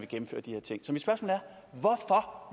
gennemføre de her ting så